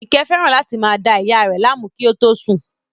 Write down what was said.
Àyìnkẹ́ fẹ́ràn láti máa da ìyá a rẹ̀ láàmú kí ó tó sùn